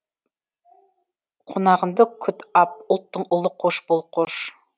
қонағыңды күт ап ұлттың ұлы қош бол қош